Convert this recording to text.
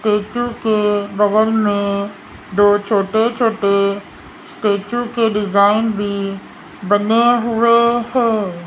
Statue के बगल में दो छोटे छोटे स्टैचू के डिजाइन भी बने हुए हैं।